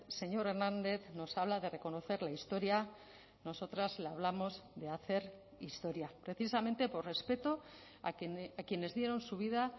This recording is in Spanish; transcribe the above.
señor hernández nos habla de reconocer la historia nosotras le hablamos de hacer historia precisamente por respeto a quienes dieron su vida